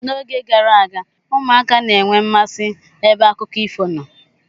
N'oge gara aga, ụmụaka na enwe mmasị ebe akụkọ ifo nọ.